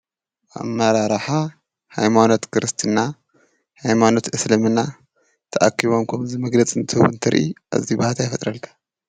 ኣመራርሓ ሃይማኖት ክርስትና ሃይማኖት እስልምና ተኣኪቦም ከምዚ መግለፂ እንትህቡ እንትሪኢ ኣዝዩ ባህታ ይፈጥረልካ።